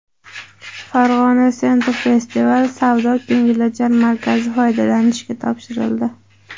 Farg‘onada Central festival savdo-ko‘ngilochar markazi foydalanishga topshirildi .